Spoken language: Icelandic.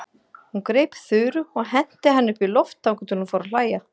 Hún greip Þuru og henti henni upp í loft þangað til hún fór að hlæja.